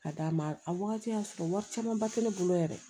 Ka d'a ma a wagati y'a sɔrɔ wari camanba tɛ ne bolo yɛrɛ